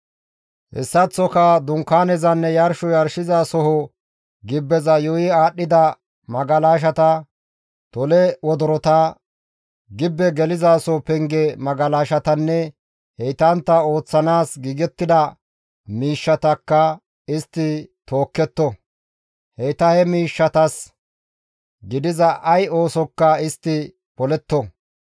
Hessaththoka Dunkaanezanne yarsho yarshosoho gibbeza yuuyi aadhdhida magalashata, tole wodorota, gibbe gelizaso penge magalashatanne heytantta ooththanaas giigettida miishshatakka istti tookketto; heyta he miishshatas gidiza ay oosokka istti poletto.